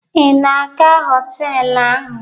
Ị na-aga họtelụ ahụ?